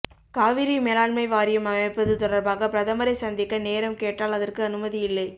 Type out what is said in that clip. காவிரிமேலாண்மை வாரியம் அமைப்பது தொடர்பாக பிரதமரை சந்திக்க நேரம் கேட்டால் அதற்கு அனுமதி இல்லை